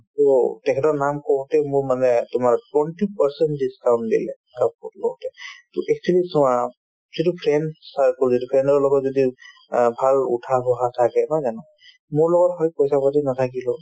to তেখেতৰ নাম কওঁতে মোৰ মনে তোমাৰ twenty percent discount দিলে কাপোৰ লওঁতে to actually চোৱা সেইটো friends circle যিটো friend ৰ লগত যদি অ ভাল উঠা-বহা থাকে নহয় জানো মোৰ লগত হয় পইচা পাতি নাথাকিব